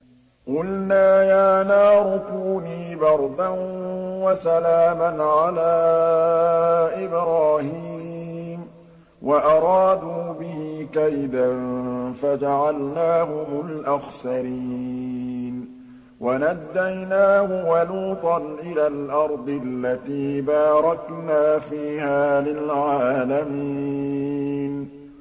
وَنَجَّيْنَاهُ وَلُوطًا إِلَى الْأَرْضِ الَّتِي بَارَكْنَا فِيهَا لِلْعَالَمِينَ